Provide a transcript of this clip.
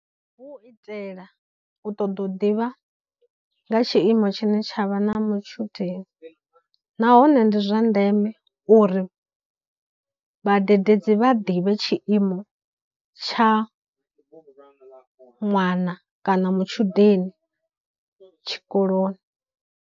Hu u itela u ṱoḓa u ḓivha nga tshiimo tshine tsha vha na mutshudeni, nahone ndi zwa ndeme uri vhadededzi vha ḓivhe tshiimo tsha ṅwana kana matshudeni tshikoloni